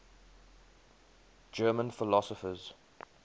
german philosophers